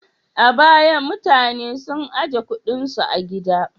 A baya, mutane sun ajiye kuɗinsu a gida.